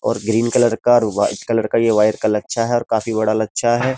ओर green colour का और white colour का ये वायर लच्छा है और काफी बड़ा लच्छा है।